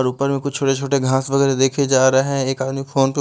और ऊपर में कुछ छोटे-छोटे घास वगैरा देखे जा रहे हैं एक आदमी फोन --